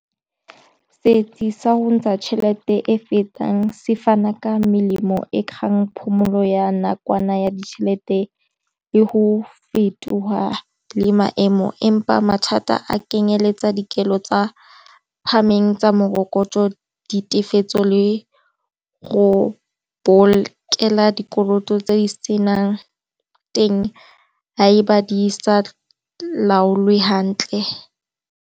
Seetsi sa go ntsha tšhelete e fetang se fana ka melemo e kgang phomolo ya nakwana ya ditšhelete le go fetoga le maemo empa mathata a kenyeletsa dikelo tsa phahameng tsa morokotso di tefelo le go bolokelang dikoloto tse di senang teng gaeba di sa laolwe hantle.